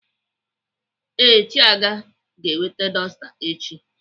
Ee, Chiaga ga-eweta dọsta echi.